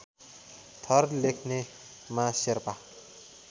थर लेख्नेमा शेर्पा